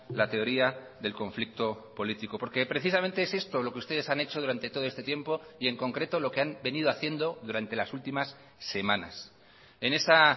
la teoría del conflicto político porque precisamente es esto lo que ustedes han hecho durante todo este tiempo y en concreto lo que han venido haciendo durante las últimas semanas en esa